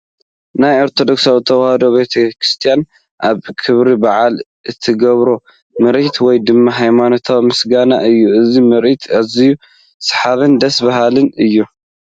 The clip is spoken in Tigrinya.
ናይ ኦርቶዶክስ ተዋህዶሃማኖት ቤቴክርስትያን ኣብ ክብረ በዓላት እትገብሮ ምርኢት ወይ ድማ ሃይማኖታዊ ምስጋና እዩ ፡ እዚ ምርዒት ኣዚዩ ሰሓብን ደስ ዝብልን እዩ ።